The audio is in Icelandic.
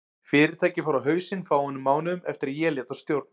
Fyrirtækið fór á hausinn fáeinum mánuðum eftir að ég lét af stjórn.